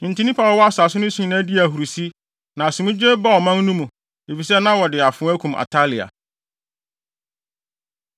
Enti nnipa a wɔwɔ asase no so nyinaa dii ahurusi, na asomdwoe baa ɔman no mu, efisɛ na wɔde afoa akum Atalia.